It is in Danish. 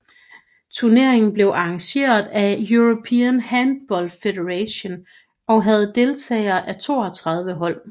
Turneringen blev arrangeret af European Handball Federation og havde deltagelse af 32 hold